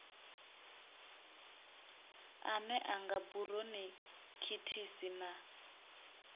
ane a nga buronikhitisi na